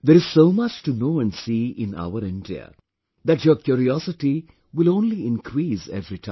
There is so much to know and see in our India that your curiosity will only increase every time